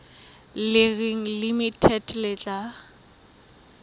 le reng limited le tla